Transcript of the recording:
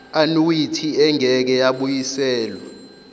annuity engeke yabuyiselwa